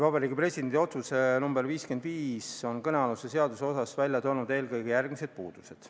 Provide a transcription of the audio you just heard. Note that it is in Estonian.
Vabariigi Presidendi otsus nr 551 on kõnealuses seaduses välja toonud eelkõige järgmised puudused.